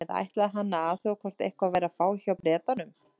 Eða ætlaði hann að athuga hvort eitthvað væri að fá hjá Bretanum?